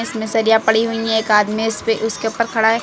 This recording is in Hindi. इनमें सरिया पड़ी हुई है एक आदमी इसपे उसके ऊपर खड़ा--